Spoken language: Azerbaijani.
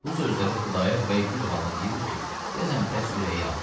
Bu sözləri Xudayar bəy bir halda deyirdi ki, deyəsən bəs ürəyi yanırdı.